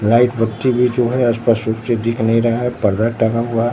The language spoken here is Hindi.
बीच है अस्पष्ट रूप से दिख नहीं रहा है और पर्दा टंगा हुआ है।